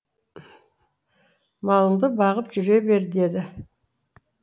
малыңды бағып жүре бер деді